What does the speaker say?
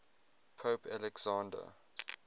pope alexander